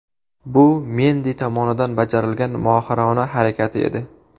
Bu Mendi tomonidan bajarilgan mohirona harakati edi.